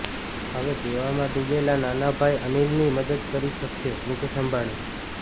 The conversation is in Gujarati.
હવે દેવામાં ડૂબેલા નાના ભાઈ અનિલની મદદ કરી શકશે મુકેશ અંબાણી